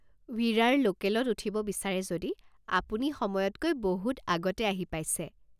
ৱিৰাৰ লোকেলত উঠিব বিচাৰে যদি আপুনি সময়তকৈ বহুত আগতে আহি পাইছে।